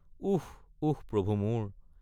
উস্ উস্ প্ৰভু মোৰ!